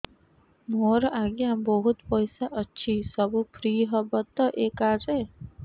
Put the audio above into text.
ମୋର ଆଜ୍ଞା ବହୁତ ପଇସା ଅଛି ସବୁ ଫ୍ରି ହବ ତ ଏ କାର୍ଡ ରେ